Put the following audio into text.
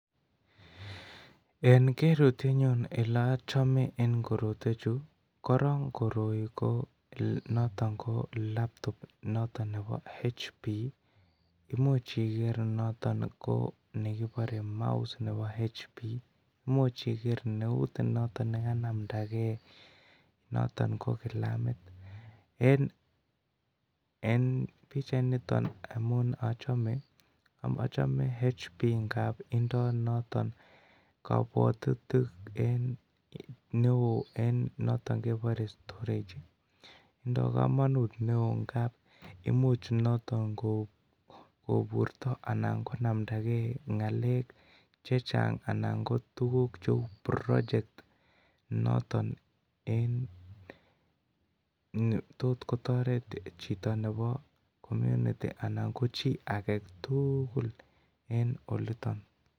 En kerutyenyun Ole achome en koroi korok koroi ko noton ko laptop nebo hp Imuch iger noton ko nekibore mouse noton ko hp Imuch iger neut noton kokanamdage noton ko kilamit en pichainiton amun achome hp ngab tindoi noton kabwatutik neo noton kebore storage tindoi kamanut neo ngab Imuch noton koburto anan konamda ge ngalek Che Chang anan ko tuguk cheu project noton ne tot kotoret chito nebo community anan ko chi age tugul en oliton